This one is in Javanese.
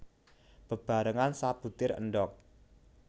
Bebarengan sabutir endhog